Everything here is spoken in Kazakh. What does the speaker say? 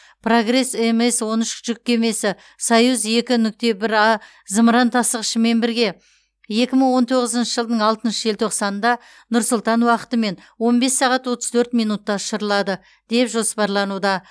прогресс мс он үш жүк кемесі союз екі нүкте бір а зымыран тасығышымен бірге екі мың он тоғызыншы жылдың алтыншы желтоқсанында нұр сұлтан уақытымен он бес сағат отыз төрт минутта ұшырылады деп жоспарлануда